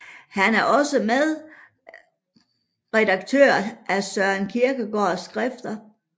Han er også medredaktør af Søren Kierkegaards Skrifter